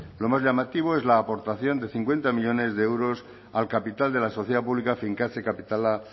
lo más llamativo es la aportación de cincuenta millónes de euros al capital de la sociedad pública finkatze kapitala